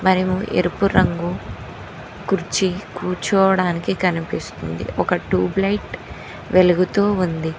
మరి ఎరుపు రంగు కుర్చీ కూర్చోవడానికి కనిపిస్తుంది ఒక టూబ్ లైట్ వెలుగుతూ ఉంది.